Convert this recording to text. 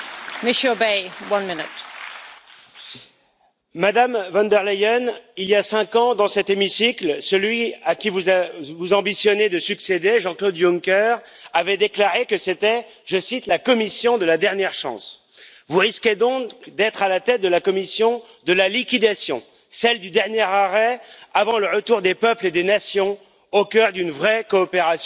Madame la Présidente, Madame von der Leyen, il y a cinq ans, dans cet hémicycle, celui à qui vous ambitionnez de succéder, Jean Claude Juncker, avait déclaré que c'était, je cite, la Commission de la dernière chance. Vous risquez donc d'être à la tête de la Commission de la liquidation, celle du dernier arrêt avant le retour des peuples et des nations au cœur d'une vraie coopération européenne.